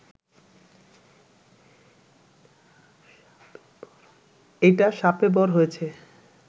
এইটা শাপেবর হয়েছে